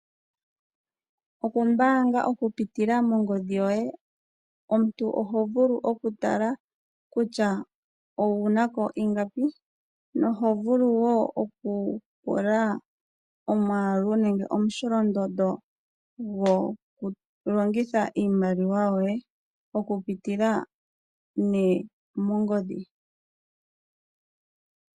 Okumbaga oku pitila mongodhi yoye. Omuntu oho vulu oku tala kutya owuna ko ingapi noho vulu wo oku pula omwaalu nenge omusholondondo gwoku longitha iimaliwa yoye oku pitila nee mongodhi.